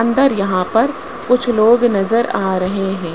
अंदर यहां पर कुछ लोग नजर आ रहे है।